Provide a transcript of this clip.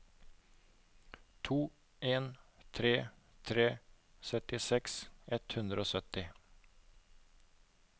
to en tre tre syttiseks ett hundre og sytti